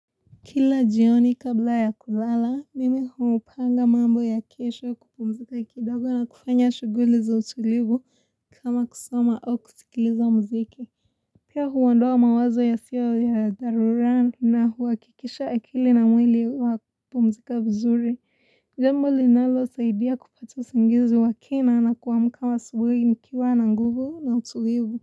Kila jioni kabla ya kulala, mimi hupanga mambo ya kesho kupumzika kidogo na kufanya shuguli za utulivu kama kusoma au kuzikiliza muziki. Pia huondoa mawazo yasio ya dharura na uhakikisha akili na mwili wa kupumzika vizuri. Jambo linalosaidia kupata usingizi wa kina na kuamka asubuhi nikiwa na nguvu na utulivu.